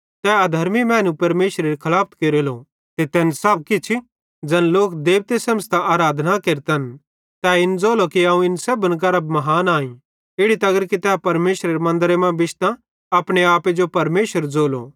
तै अधर्मी मैनू परमेशरेरी खलाफत केरेलो ते तैन सब किछ ज़ैन लोक देबते सेमझ़तां आराधना केरतन तै इन ज़ोलो ई अवं इन सेब्भन करां महान आईं इड़ी तगर कि तै परमेशरेरे मन्दरे मां बिश्तां अपनो आपे जो परमेशर ज़ोलो